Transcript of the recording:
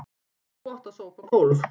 Þú átt að sópa gólf.